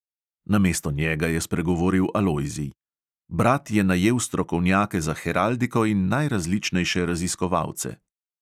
Namesto njega je spregovoril alojzij: "brat je najel strokovnjake za heraldiko in najrazličnejše raziskovalce."